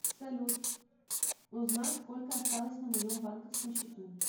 салют узнать сколько осталось на моем банковском счету